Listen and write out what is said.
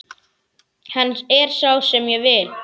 Hann er sá sem ég vil.